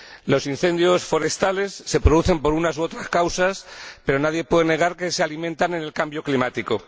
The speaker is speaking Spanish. Los incendios forestales se producen por unas u otras causas, pero nadie puede negar que se alimentan en el cambio climático.